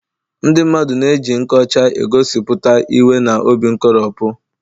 Ndị mmadụ na-eji nkọcha egosipụta iwe na obi nkoropụ.